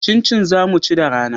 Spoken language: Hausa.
Cincin za mu ci da rana